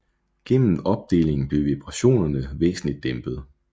Gennem opdelingen blev vibrationerne væsentligt dæmpet